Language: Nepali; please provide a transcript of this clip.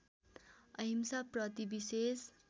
अहिंसा प्रति विशेष